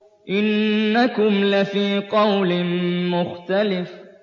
إِنَّكُمْ لَفِي قَوْلٍ مُّخْتَلِفٍ